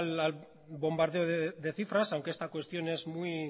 al bombardeo de cifras aunque esta cuestión es